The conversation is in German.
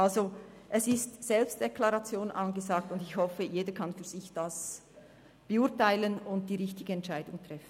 Also, es ist Selbstdeklaration angesagt, und ich hoffe, jeder könne das für sich beurteilen und die richtige Entscheidung treffen.